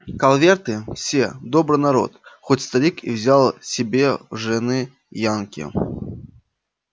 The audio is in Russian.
калверты все добрый народ хоть старик и взял себе жены янки